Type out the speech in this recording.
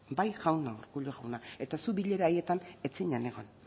bai jauna urkullu jauna eta zuk bilera haietan ez zinen egon